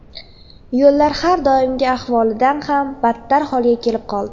Yo‘llar har doimgi ahvolidan ham battar holga kelib qoldi.